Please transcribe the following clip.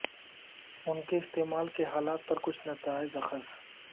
ان کے استعمال کے حالات پر کچھ نتائج اخذ